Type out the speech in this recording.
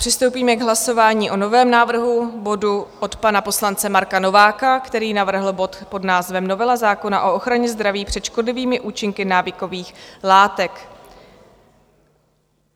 Přistoupíme k hlasování o novém návrh bodu od pana poslance Marka Nováka, který navrhl bod pod názvem "Novela zákona o ochraně zdraví před škodlivými účinky návykových látek".